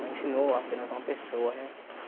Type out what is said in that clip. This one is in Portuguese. Não ensinou apenas uma pessoa, né?